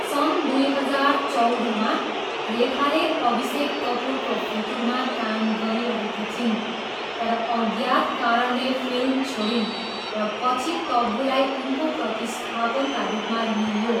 सन् दुई हजार चौधमा, रेखाले अभिषेक कपुरको फितुरमा काम गरिरहेकी थिइन्, तर अज्ञात कारणले फिल्म छोडिन् र पछि तब्बूलाई उनको प्रतिस्थापनका रूपमा लिइयो।